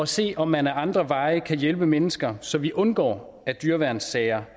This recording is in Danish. se om man ad andre veje kan hjælpe mennesker så vi undgår dyreværnssager